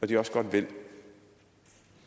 de også godt vil